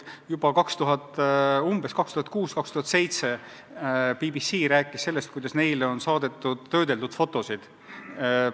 Juba umbes aastail 2006 ja 2007 BBC rääkis, et neile on saadetud töödeldud fotosid.